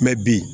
Mɛ bi